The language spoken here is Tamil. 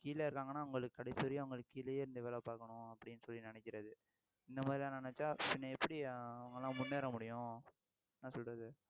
கீழ இருக்காங்கன்னா அவங்களுக்கு கடைசி வரையும் அவங்களுக்கு கீழயே இருந்து வேலை பார்க்கணும் அப்படின்னு சொல்லி நினைக்கிறது இந்த மாதிரி எல்லாம் நினைச்சா பின்ன எப்படி அவங்க எல்லாம் முன்னேற முடியும் என்ன சொல்றது